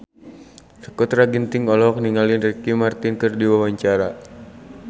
Sakutra Ginting olohok ningali Ricky Martin keur diwawancara